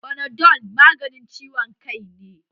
Fanadol maganin ciwon kai ne